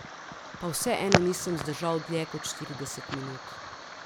Pa vseeno nisem zdržal dlje kot štirideset minut.